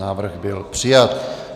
Návrh byl přijat.